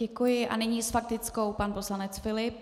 Děkuji a nyní s faktickou pan poslanec Filip.